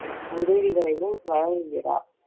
உதவிகளையும் வழங்குகிறார்